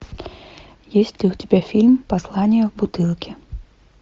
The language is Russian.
есть ли у тебя фильм послание в бутылке